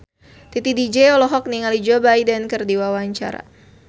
Titi DJ olohok ningali Joe Biden keur diwawancara